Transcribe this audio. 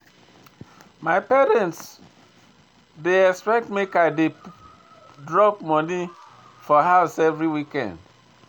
My parents dey expect make I dey drop money for house every weekend.